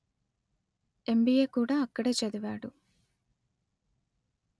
ఎం_letter బీ_letter ఏ_letter కూడా అక్కడే చదివాడు